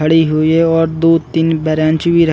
खड़ी हुई है और दो तीन ब्रेन्च भी रख--